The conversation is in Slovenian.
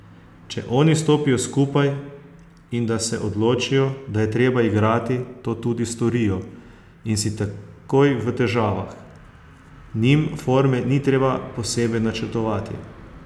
Če oni stopijo skupaj in da se odločijo, da je treba igrati, to tudi storijo in si takoj v težavah, njim forme ni treba posebej načrtovati.